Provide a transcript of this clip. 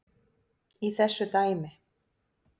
í þessu dæmi.